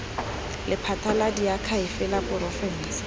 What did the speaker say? lephata la diakhaefe la porofense